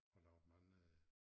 Og lavet mange